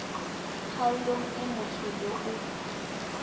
kgaolong e motho yo o